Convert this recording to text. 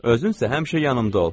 Özün isə həmişə yanımda ol.